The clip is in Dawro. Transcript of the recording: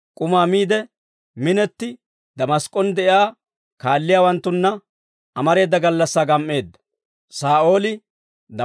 K'umaa miide minetti, Damask'k'on de'iyaa kaalliyaawanttunna amareeda gallassaa gam"eedda.